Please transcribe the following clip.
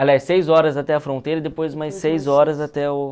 Aliás, seis horas até a fronteira e depois mais seis horas até o